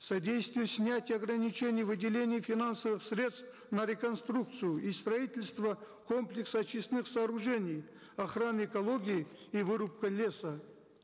содействие снятию ограничений выделений финансовых средств на реконструкцию и строительство комплекса очистных сооружений охраны экологии и вырубка леса